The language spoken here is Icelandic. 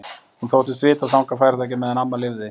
Hún þóttist vita að þangað færu þau ekki meðan amma lifði.